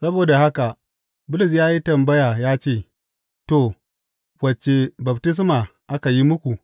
Saboda haka Bulus ya yi tambaya ya ce, To, wace baftisma aka yi muku?